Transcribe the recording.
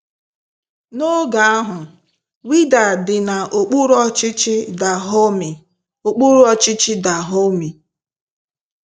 N’oge ahụ, Wida dị na okpúrù ọchịchị Dahọmi okpúrù ọchịchị Dahọmi..